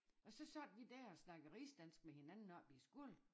Og så sad vi dér og snakkede rigsdansk med hinanden op i æ skole